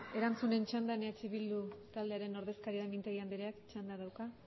erantzunen txandan eh bildu taldearen ordezkaria mintegi andreak txanda dauka